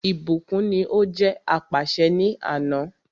Ìbùkún ní o jẹ́ apàṣẹ ni àná.